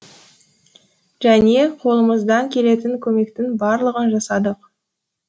және қолымыздан келетін көмектің барлығын жасадық